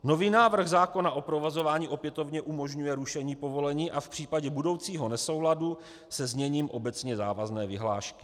Nový návrh zákona o provozování opětovně umožňuje rušení povolení a v případě budoucího nesouladu se zněním obecně závazné vyhlášky.